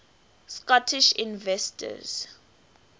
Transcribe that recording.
scottish inventors